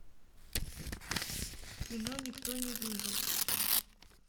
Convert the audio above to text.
кино никто не выжил